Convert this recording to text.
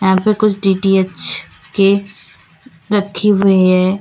यहां पे कुछ डी_टी_एच के रखी हुए है।